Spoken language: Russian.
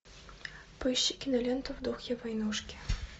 поищи киноленту в духе войнушки